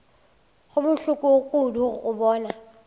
go bohloko kudu go bona